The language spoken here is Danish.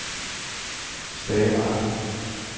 Stae Mark